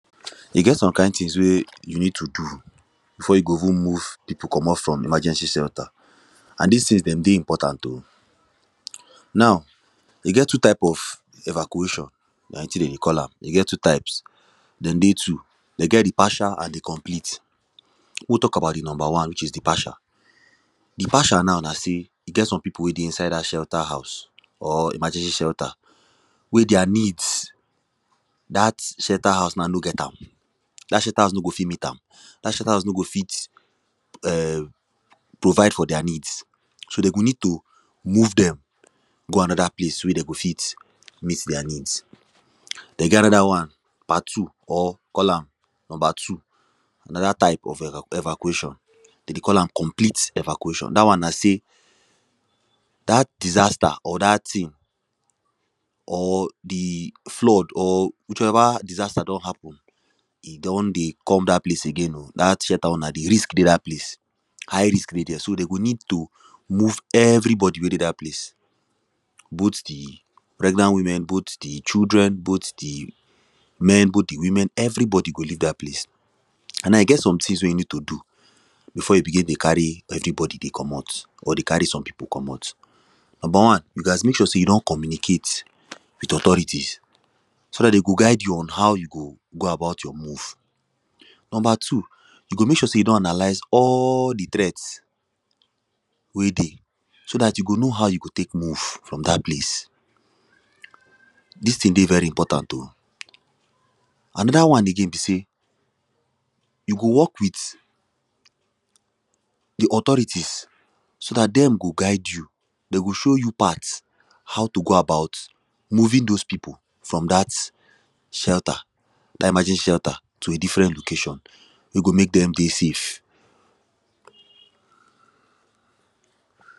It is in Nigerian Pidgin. E get some kind things wey you need to do, before you go even move people commot from emergency shelter, and dis things, them dey important o. now, e get two type of evacuation, na wetin them dey call am, e get two types them dey two, them get the partial and the complete we talk about the number one which is the partial Partial now na sey e get some people wey dey inside dat shelter house. or emergency shelter wey their needs, dat shelter house now no get am, dat shelter house no go fit meet am, dat shelter house no go fit um, provide for their needs, So, they go need to move them go another place wey them go fit meet their needs. Them get another one part two or call am, number two another type of eva of evacuation, them dey call am complete evacuation, dat one na say, dat disaster or dat thing or the flood, or whichever disaster don happen, e don dey come dat place again o, dat shelter wey una dey, risk dey dat place. high risk dey there, so, them go need to move everybody wey dey dat place both the pregnant women, both the children, both the men, both the women, everybody go leave dat place. And I get some things wey you need to do, before you begin dey carry everybody dey commot, or dey carry some people commot. Number one you gas mek sure say you don communicate with authorities. so dat dem go guide you on how you go go about your move. Number two you go mek sure say you don analyze all the threats wey dey, so dat you go know how you go tek move from dat place. Dis thing dey vey important o Another one again be say, you go work with the authorities, so dat them go guide you. them go show you part, how to go about moving those people, from dat shelter. dat emergency shelter to a different location wey go mek them dey safe.